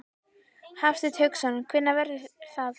Hafsteinn Hauksson: Hvenær verður það?